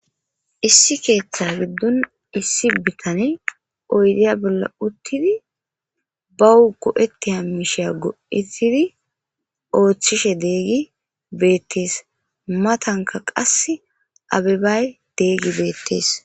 Issi keeththa giddon issi bitane oydiya bolla uttidi ba hu go7etti hammishiya go7etidi ooththishe deegi beettees matanka qas abebay deegi beettees.